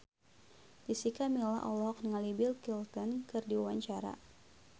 Jessica Milla olohok ningali Bill Clinton keur diwawancara